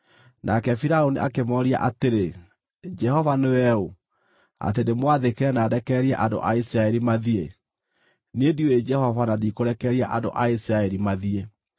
Nake Firaũni akĩmooria atĩrĩ, “Jehova nĩwe ũ, atĩ ndĩmwathĩkĩre na ndekererie andũ a Isiraeli mathiĩ? Niĩ ndiũĩ Jehova na ndikũrekereria andũ a Isiraeli mathiĩ.”